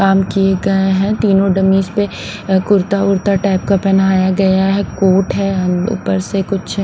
काम किए गए हैं तीनों डमीज पे अ कुर्ता वुर्ता टाइप का पहनाया गया है कोट हैं हम ऊपर से कुछ--